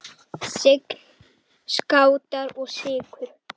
Sign, Skátar og Sykur.